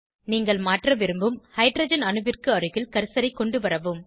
நீங்கள் மாற்ற விரும்பும் ஹைட்ரஜன் அணுவிற்கு அருகில் கர்சரை கொண்டுவரவும்